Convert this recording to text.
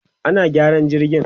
ana gyaran jirgin